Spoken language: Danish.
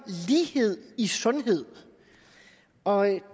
lighed i sundhed og